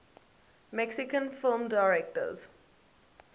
mexican film directors